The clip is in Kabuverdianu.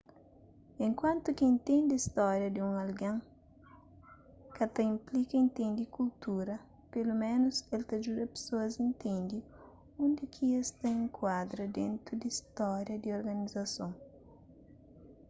enkuantu ki intende stória di un algen ka ta inplika intende kultura peloménus el ta djuda pesoas intende undi ki es ta enkuadra dentu di stória di organizason